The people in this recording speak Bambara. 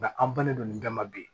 Nka an bannen don nin bɛɛ ma bi